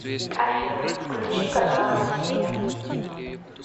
афина включи каналы россия